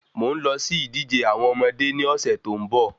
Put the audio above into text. Mò n lọ sí ìdíje àwọn ọmọdé ni ọ̀sẹ̀ tó ń bo